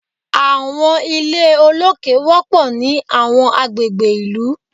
Àwọn ilé olókè wọpọ ni awọn agbegbe ìlú